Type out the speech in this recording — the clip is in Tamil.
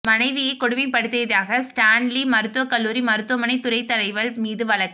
மனைவியை கொடுமைப்படுத்தியதாக ஸ்டான்லி மருத்துவ கல்லூரி மருத்துவமனை துறைத் தலைவர் மீது வழக்கு